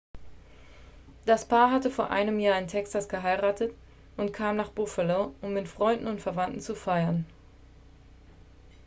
das paar hatte vor einem jahr in texas geheiratet und kam nach buffalo um mit freunden und verwandten zu feiern